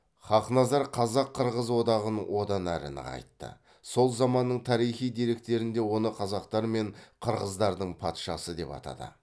хақназар қазақ қырғыз одағын одан әрі нығайтты сол заманның тарихи деректерінде оны қазақтар мен қырғыздардың патшасы деп атады